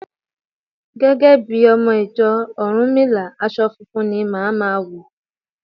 Gẹ́gẹ́ bí ọmọ ìjọ Rúnmìlà, aṣọ funfun ni màá ma wọ̀.